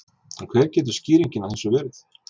En hver getur skýringin á þessu verið?